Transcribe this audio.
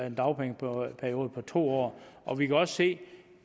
en dagpengeperiode på to år og vi kan også se at